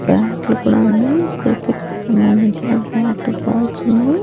బ్యాట్లు కూడా ఉన్నయి క్రికెట్ కి సంబంధించిన బ్యాట్ బాల్స్ ఉన్నయి.